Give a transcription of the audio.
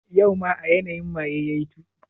Yau ma a yanayi maye yayi tuki?